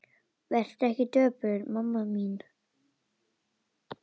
Vertu ekki döpur mamma mín.